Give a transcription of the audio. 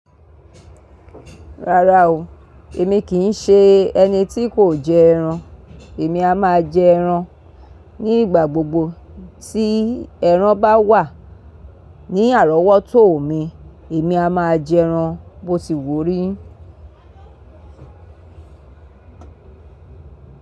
Rárá o, èmi kì í ṣe ẹni tí kò jẹ ẹran. Èmi a máa jẹ ẹran ní ìgbà gbogbo tí ẹran bá wà ní àrọ́wọ́tò mi, èmi a máa jẹ ẹran, botiwu o rí.